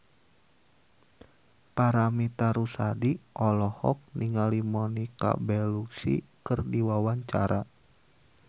Paramitha Rusady olohok ningali Monica Belluci keur diwawancara